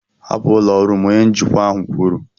hapụ ụlọ ọrụ m! Onye njikwa ahụ kwuru.